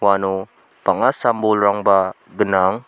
uano bang·a sam-bolrangba gnang.